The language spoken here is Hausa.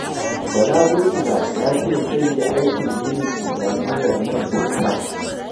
Bala Burkila ya ce zai yi aikin ginin islamiyyar nan kyauta